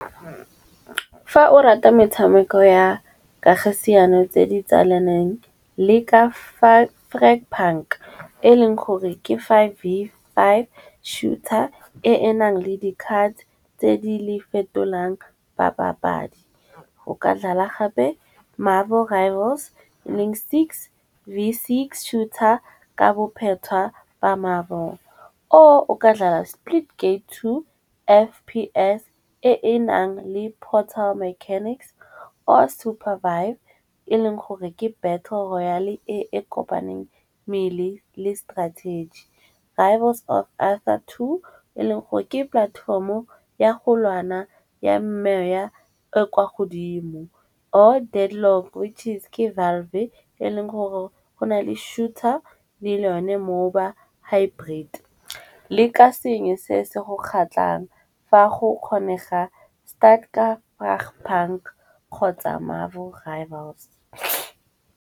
Fa o rata metshameko ya kagisiano tse di tsalaneng, le ka five e e leng gore ke five v five shooter e e nang le di card tse di le fetolang ba papadi. O ka dlala gape Marvel Rivals, le v six shooter ka bophetwa ba mabone. Or o ka dlala Splitgate 2, FPS e e nang le portal mechanics or supervibe e leng gore ke battle e kopaneng mmele le strategic. Drivers of Alpha 2 e e leng gore ke platform-o ya go lwana e kwa godimo or which is valve-e e leng gore go na le shooter le yone . Le ka sengwe se se go kgatlhang fa go kgonega bank kgotsa Marvel Rivals.